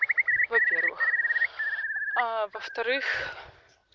во-первых а во-вторых